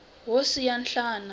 wo siya nhlana